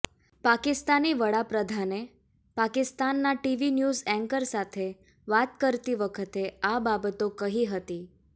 પાકિસ્તાની વડાપ્રધાને પાકિસ્તાનના TV news anchor સાથે વાત કરતી વખતે આ બાબતો કહી હતી